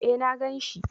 Eh na ganshi